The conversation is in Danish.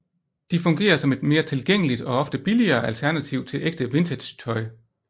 De fungerer som et mere tilgængeligt og ofte billigere alternativ til ægte vintagetøj